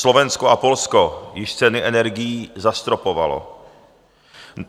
Slovensko a Polsko již ceny energií zastropovalo.